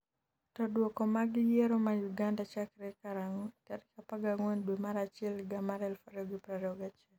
to Duoko mag yiero ma Uganda chakre karang'o tarik 14 dwe mar achiel higa mar 2021?